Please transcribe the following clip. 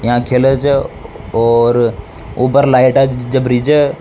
यहां खेल छ और ऊपर लाइट जपरी छ।